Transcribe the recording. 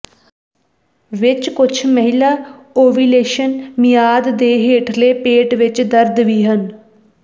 ਵਿਚ ਕੁਝ ਮਹਿਲਾ ਓਵੂਲੇਸ਼ਨ ਮਿਆਦ ਦੇ ਹੇਠਲੇ ਪੇਟ ਵਿੱਚ ਦਰਦ ਵੀ ਹਨ